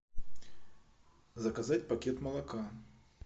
заказать пакет молока